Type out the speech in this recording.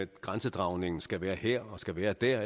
grænsedragningen skal være her og skal være der